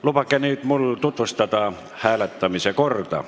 Lubage mul nüüd tutvustada hääletamise korda.